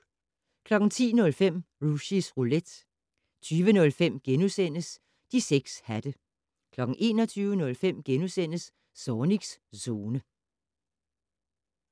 10:05: Rushys Roulette 20:05: De 6 hatte * 21:05: Zornigs Zone *